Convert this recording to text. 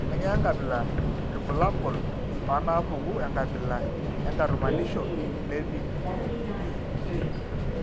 Kainyio irbulabul onaapuku enkabila enkatumanisho levi?